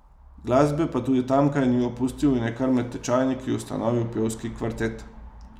Glasbe pa tudi tamkaj ni opustil in je kar med tečajniki ustanovil pevski kvartet.